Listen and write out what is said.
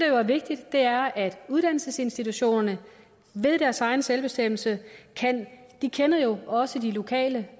jo er vigtigt er at uddannelsesinstitutionerne ved deres egen selvbestemmelse de kender jo også de lokale